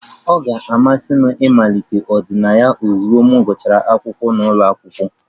Ọ ga-amasị m ịmalite ịmepụta ọdịnaya ozugbo m gụsịrị akwụkwọ n'ụlọ akwụkwọ